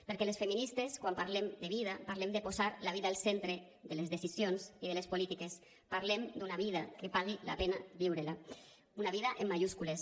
perquè les feministes quan parlem de vida parlem de posar la vida al centre de les decisions i de les polítiques parlem d’una vida que pagui la pena viure la una vida en majúscules